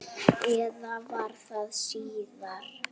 Eða var það síðar?